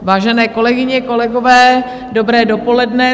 Vážené kolegyně, kolegové, dobré dopoledne.